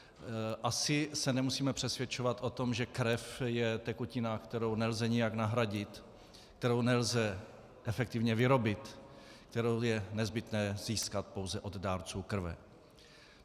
Asi se nemusíme přesvědčovat o tom, že krev je tekutina, kterou nelze nijak nahradit, kterou nelze efektivně vyrobit, kterou je nezbytné získat pouze od dárců krve.